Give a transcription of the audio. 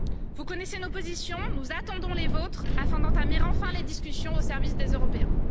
Vous connaissez nos positions, nous attendons les vôtres, afin d'entamer enfin les discussions au service des Européens.